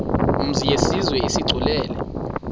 mzi yenziwe isigculelo